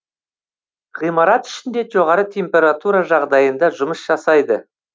ғимарат ішінде жоғары температура жағдайында жұмыс жасайды